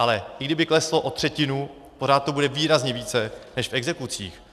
Ale i kdyby kleslo o třetinu, pořád to bude výrazně více než v exekucích.